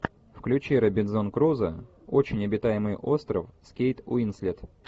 включи робинзон крузо очень обитаемый остров с кейт уинслет